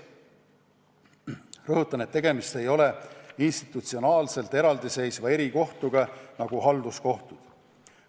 Rõhutan, et tegemist ei ole institutsionaalselt eraldiseisva erikohtuga, nagu on halduskohtud.